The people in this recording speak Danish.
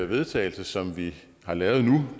vedtagelse som vi har lavet nu